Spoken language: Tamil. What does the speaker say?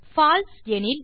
பால்சே எனில்